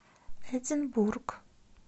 эдинбург